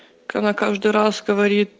она каждый раз говорит